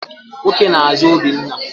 Nwoke na-àzá Obinna.